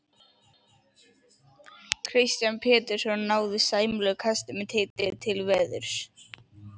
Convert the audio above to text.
Kristján Pétursson náði sæmilegu kasti með tilliti til veðurs.